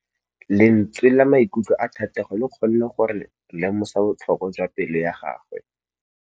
Lentswe la maikutlo a Thategô le kgonne gore re lemosa botlhoko jwa pelô ya gagwe.